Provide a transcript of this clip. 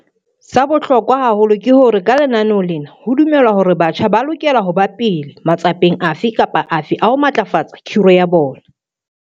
Sa bohlokwa haholo ke hore ka lenaneo lena ho dumelwa hore batjha ba lokela ho ba pele matsapeng afe kapa afe a ho matlafatsa khiro ya bona.